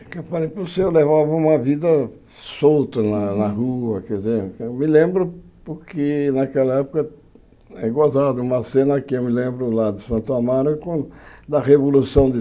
É que, aparente, levava uma vida solta na na rua, quer dizer, eu me lembro porque naquela época, é gozado, uma cena que eu me lembro lá de Santo Amaro, é quan da Revolução de